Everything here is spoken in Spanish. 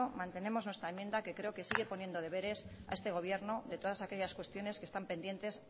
mantenemos nuestra enmienda que creo que sigue poniendo deberes a este gobierno de todas aquellas cuestiones que están pendientes